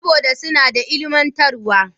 Saboda suna da ilimantarwa.